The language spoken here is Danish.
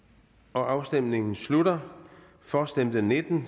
afstemningen slutter for stemte nitten